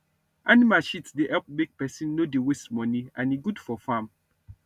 animal shit dey help make pesin no dey waste money and e good for farm